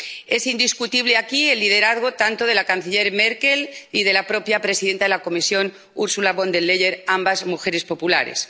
Es indiscutible aquí el liderazgo de la canciller Merkel y de la propia presidenta de la Comisión, Ursula von der Leyen, ambas mujeres populares.